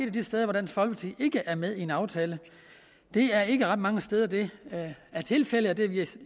af de steder hvor dansk folkeparti ikke er med i en aftale det er ikke ret mange steder det er tilfældet og det